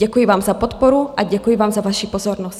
Děkuji vám za podporu a děkuji vám za vaši pozornost.